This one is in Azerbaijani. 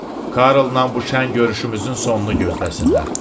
Karlın bu şən görüşümüzün sonunu gözləsinlər.